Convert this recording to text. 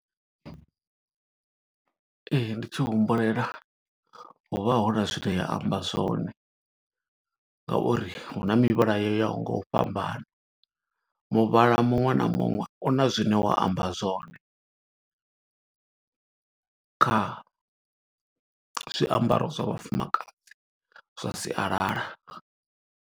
Ee, ndi tshi humbulela hu vha huna zwine ya amba zwone, nga uri hu na mivhala yo ya ho nga u fhambana. Muvhala muṅwe na muṅwe, una zwine wa amba zwone kha zwiambaro zwa vhafumakadzi zwa sialala.